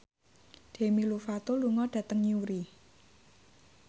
Demi Lovato lunga dhateng Newry